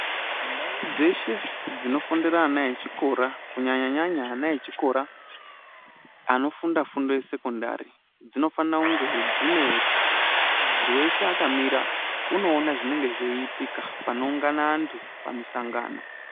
Ndau dzeshe dzinofundira ana echikora kunyanyanya ana echikora anofunda fundo ye sekondari, dzinofana kunge dzine paro pekuti muntu weshe akamira unoona zvinenge zveiitika panoungana antu pamisangano.